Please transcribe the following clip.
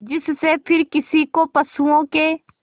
जिससे फिर किसी को पशुओं के